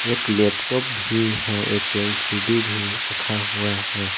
एक लैपटॉप भी है एक एल_सी_डी भी रखा हुआ है।